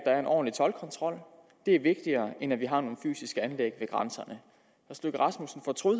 er en ordentlig toldkontrol det er vigtigere end at vi har nogle fysiske anlæg ved grænserne